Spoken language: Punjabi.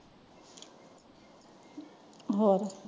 ਹੋਰ?